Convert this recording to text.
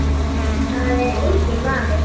Það er enginn vafi.